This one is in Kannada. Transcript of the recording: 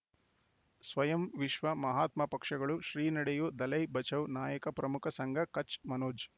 ಸ್ವಯಂ ವಿಶ್ವ ಮಹಾತ್ಮ ಪಕ್ಷಗಳು ಶ್ರೀ ನಡೆಯೂ ದಲೈ ಬಚೌ ನಾಯಕ ಪ್ರಮುಖ ಸಂಘ ಕಚ್ ಮನೋಜ್